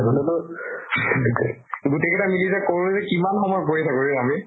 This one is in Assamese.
আগতে টো গোতেই কেটা মিলি যে কৰো যে কিমান সময় কৰি থাকো ৰে আমি।